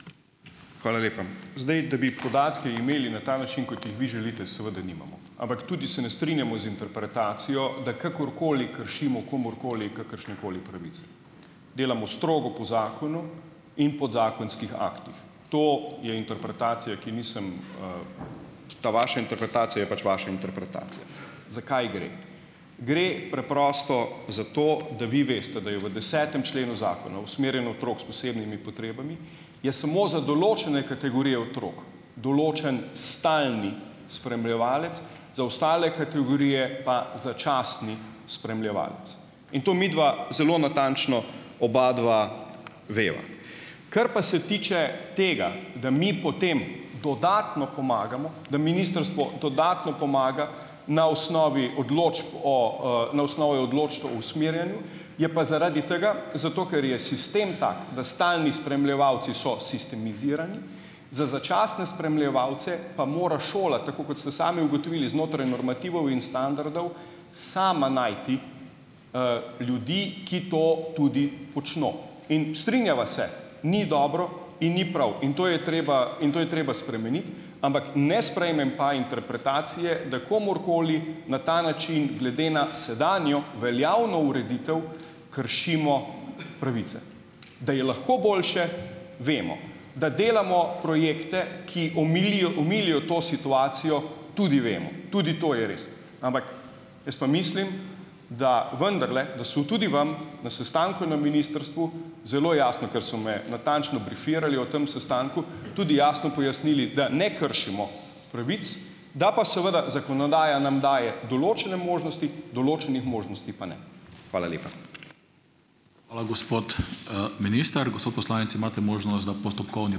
Hvala lepa! Zdaj, da bi podatke imeli na ta način, kot jih vi želite, seveda nimamo. Ampak tudi se ne strinjamo z interpretacijo, da kakorkoli kršimo komurkoli kakršnekoli pravice. Delamo strogo po zakonu in podzakonskih aktih. To je interpretacija, ki nisem, Ta vaša interpretacija je pač vaša interpretacija. Za kaj gre? Gre preprosto za to, da vi veste, da je v desetem členu Zakona o usmerjanju otrok s posebnimi potrebami je samo za določene kategorije otrok določen stalni spremljevalec, za ostale kategorije pa začasni spremljevalec, in to midva zelo natančno obadva veva. Kar pa se tiče tega, da mi potem dodatno pomagamo, da ministrstvo dodatno pomaga, na osnovi odločb o, na osnovi odločb o usmerjanju, je pa zaradi tega, zato ker je sistem tak, da stalni spremljevalci so sistemizirani, za začasne spremljevalce pa mora šola, tako kot ste sami ugotovili, znotraj normativov in standardov, sama najti, ljudi, ki to tudi počno. In strinjava se, ni dobro in ni prav, in to je treba in to je treba spremeniti, ampak ne sprejmem pa interpretacije, da komurkoli na ta način, glede na sedanjo veljavno ureditev kršimo pravice. Da je lahko boljše, vemo, da delamo projekte, ki omilijo omilijo to situacijo, tudi vemo, tudi to je res, ampak jaz pa mislim, da vendarle, da so tudi vam na sestanku na ministrstvu, zelo jasno, ker so me natančno brifirali o tem sestanku, tudi jasno pojasnili, da ne kršimo pravic, da pa seveda zakonodaja nam daje določene možnosti, določenih možnosti pa ne. Hvala lepa. Hvala, gospod, minister. Gospod poslanec, imate možnost, da postopkovni ...